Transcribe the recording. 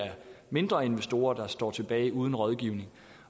mindre investorer der står tilbage uden rådgivning